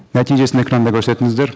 нәтижесін экранда көрсетіңіздер